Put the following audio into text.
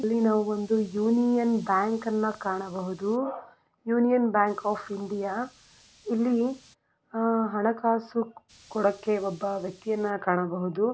ಇಲ್ಲಿ ನಾವು ಒಂದು ಯೂನಿಯನ್ ಬ್ಯಾಂಕ್ ಅನ್ನ ಕಾಣಬಹುದು ಯೂನಿಯನ್ ಬ್ಯಾಂಕ್ ಆ ಇಂಡಿಯಾ ಇಲ್ಲಿ ಹಣ ಕಾಸು ಕೊಡಕೆ ಒಬ್ಬ ವಕ್ತಿಯನ್ನ ಕಾಣಬಹುದು.